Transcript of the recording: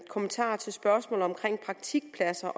kommentar til spørgsmålet omkring praktikpladser